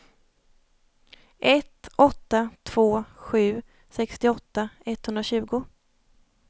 ett åtta två sju sextioåtta etthundratjugo